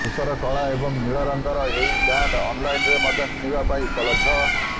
ଧୂସର କଳା ଏବଂ ନୀଳ ରଙ୍ଗରେ ଏହି ବ୍ୟାଣ୍ଡ୍ ଅନ୍ଲାଇନରେ ମଧ୍ୟ କିଣିବା ପାଇଁ ଉପଲବ୍ଧ